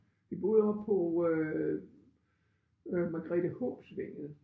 Vi boede oppe på øh øh Margrethehåbsvænget